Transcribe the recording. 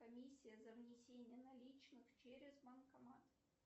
комиссия за внесение наличных через банкомат